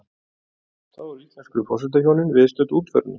Þá eru íslensku forsetahjónin viðstödd útförina